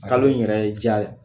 Kalo in yɛrɛ ye diya dɛ